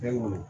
Fɛn nunnu